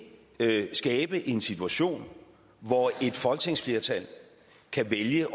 vil skabe en situation hvor et folketingsflertal kan vælge